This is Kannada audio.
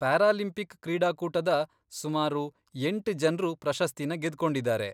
ಪ್ಯಾರಾಲಿಂಪಿಕ್ ಕ್ರೀಡಾಕೂಟದ ಸುಮಾರು ಎಂಟ್ ಜನ್ರು ಪ್ರಶಸ್ತಿನ ಗೆದ್ಕೊಂಡಿದಾರೆ.